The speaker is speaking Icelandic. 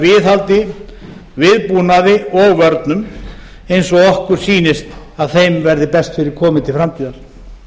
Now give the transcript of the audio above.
viðhaldi viðbúnaði og vörnum eins og okkur sýnist að þeim verði best fyrir komið til framtíðar það